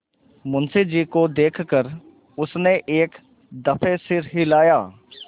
मुंशी जी को देख कर उसने एक दफे सिर हिलाया